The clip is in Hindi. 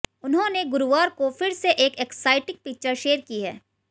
उन्होंने गुरुवार को फिर से एक एक्साइटिंग पिक्चर शेयर की है